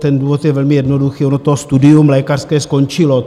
Ten důvod je velmi jednoduchý, ono to studium lékařské skončilo.